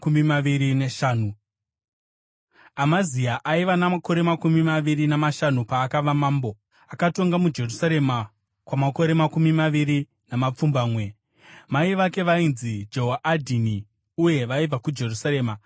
Amazia aiva namakore makumi maviri namashanu paakava mambo, akatonga muJerusarema kwamakore makumi maviri namapfumbamwe. Mai vake vainzi Jehoadhini, uye vaibva kuJerusarema.